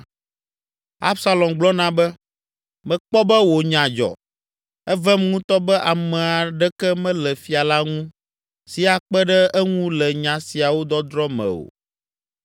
Absalom gblɔna be, “Mekpɔ be wò nya dzɔ; evem ŋutɔ be ame aɖeke mele Fia la ŋu si akpe ɖe eŋu le nya siawo dɔdrɔ̃ me o.”